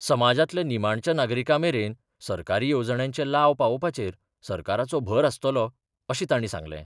समाजांतल्या निमाणच्या नागरिकां मेरेन सरकारी येवजण्यांचे लाव पावोवपाचेर सरकाराचो भर आसतलो अशें तांणी सांगलें.